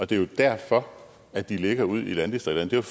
det er jo derfor at de ligger ude i landdistrikterne